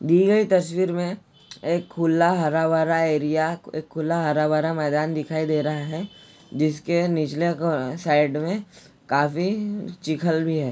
दी गयी तस्वीर में एक खुला हरा भरा एरिया एक खुला एक हरा भरा मैदान दिखाई दे रहा है जिसके निचले क साइड में काफी चीखल भी है।